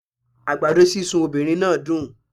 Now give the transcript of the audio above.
Àgbàdo sísun obìnrin náà dùn